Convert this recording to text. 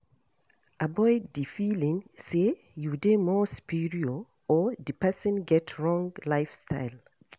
Avoid di feeling sey you dey more superior or di person get wrong lifestyle